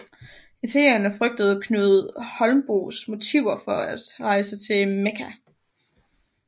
Italienerne frygtede Knud Holmboes motiver for at rejse til Mekka